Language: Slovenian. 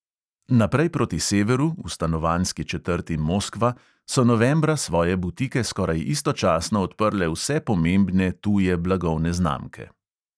Naprej proti severu, v stanovanjski četrti moskva, so novembra svoje butike skoraj istočasno odprle vse pomembne tuje blagovne znamke.